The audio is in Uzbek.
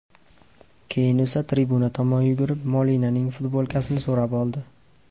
Keyin esa tribuna tomon yugurib, Molinaning futbolkasini so‘rab oldi.